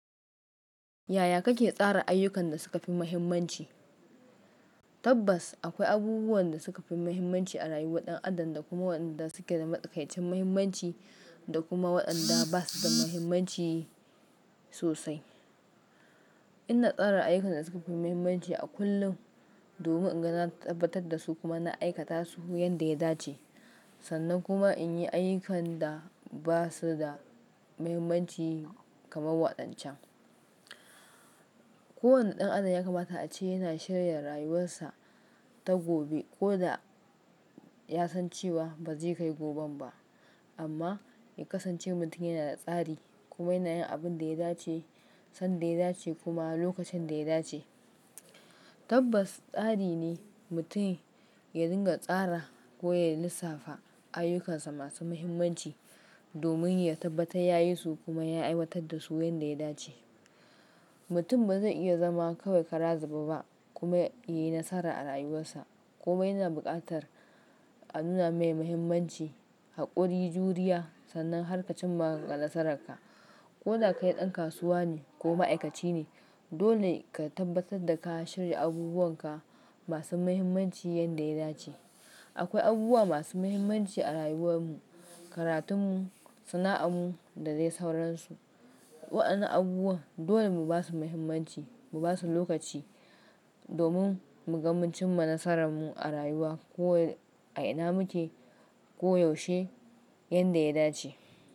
Yaya kake tsara ayyukan da suka fi muhimmanci? Tabbas akwai abubuwan da suka fi muhimmanci a rayuwar ɗan adam da kuma waɗanda suke da matuƙaici muhimmanci da kuma waɗanda basu da muhimmanci sosai. Ina tsara ayyukan da suka fi muhimmanci a kullum domin in ga na tabbatar da su kuma na aikata su yanda ya dace, sannan kuma in yi ayyukan da basu da muhimmanci kamar waɗancan. Kowane ɗan adam ya kamata a ce yana shirya rayuwarsa ta gobe koda ya san cewa ba zai kai gobe ba. Amma ya kasance mutum yana da tsari kuma yana yin abin da ya dace, sanda ya dace kuma lokacin da ya dace. Tabbas tsari ne mutum ya dinga tsara ko ya lissafa ayyukansa masu muhimmanci domin ya tabbata ya yi su kuma ya aiwatar da su yanda ya dace. Mutum ba zai iya zama kawai kara zube a ba kuma yayi nasara a rayuwarsa kuma yana buƙatar a nuna mai muhimmanci haƙuri, juriya sannan harkacin magan nasararka. Koda kai ɗan kasuwa ne ko ma'aikaci ne, dole ka tabbatar da ka shirya abubuwanka masu muhimmanci yanda ya dace. Akwai abubuwa masu muhimmanci a rayuwar mu, karatun mu, sana'an mu da dai sauransu. Waɗannan abubuwan dole mu basu muhimmanci mu basu lokaci domin mu ga mun cinma nasaran mu a rayuwa ko a ina muke koyaushe yanda ya dace.